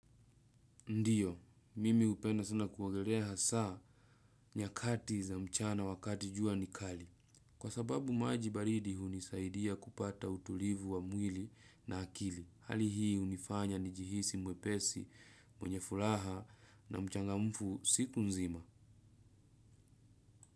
Ndio, mimi upenda sana kuagoreha saa nyakati za mchana wakati jua nikali. Kwa sababu maji baridi hunisaidia kupata utulivu wa mwili na akili. Hali hii hunifanya ni jihisi mwepesi mwenye fulaha na mchangamfu siku nzima.